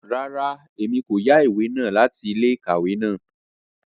Rárá, Èmí ko yá ìwé náà láti ilé-íkàwe náà